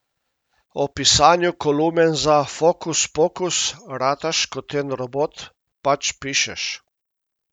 O pisanju kolumen za Fokuspokus: 'Rataš kot en robot, pač pišeš.